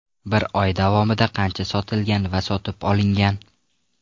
Bir oy davomida qancha sotilgan va sotib olingan?